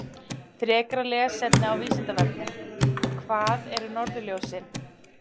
Frekara lesefni af Vísindavefnum: Hvað eru norðurljósin?